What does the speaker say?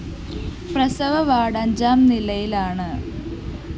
പ്രസവ വാർഡ്‌ അഞ്ചാം നിലയിലാണ്